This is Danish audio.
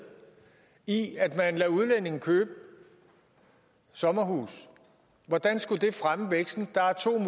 i at man lader udlændinge købe sommerhuse hvordan skulle det fremme væksten der er to